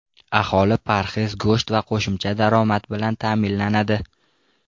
Aholi parhez go‘sht va qo‘shimcha daromad bilan ta’minlanadi.